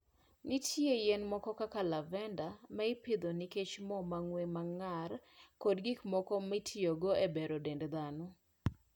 Nitie yien moko kaka lavender, ma ipidho nikech mo mang'we ng'ar ma gin-go kod gik mamoko mitiyogo e bero dend dhano.